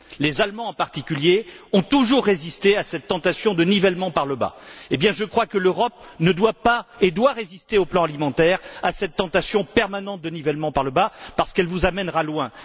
Les Allemands, en particulier, ont toujours résisté à cette tentation du nivellement par le bas. Eh bien, je crois que l'Europe doit résister, sur le plan alimentaire, à cette tentation permanente de nivellement par le bas, parce que ça la mènera loin.